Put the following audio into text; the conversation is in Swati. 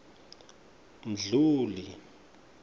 mdluli